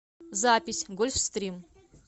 запись гольфстрим